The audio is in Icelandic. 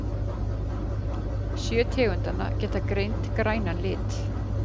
Sjö tegundanna geta greint grænan lit